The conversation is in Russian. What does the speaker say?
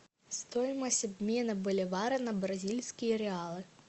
стоимость обмена боливара на бразильские реалы